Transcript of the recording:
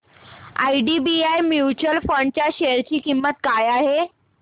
IDBI mutual fund च्या share ची किंमत काय आहे